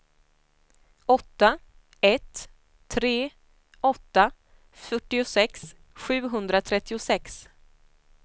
åtta ett tre åtta fyrtiosex sjuhundratrettiosex